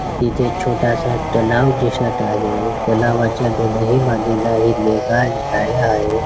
इथे छोटासा तलाव दिसत आहे तलावाच्या दोनही बाजूला हिरवेगार झाड आहेत.